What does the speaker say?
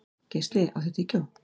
Geisli, áttu tyggjó?